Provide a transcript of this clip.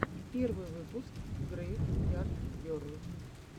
первый выпуск грэйв ярд герл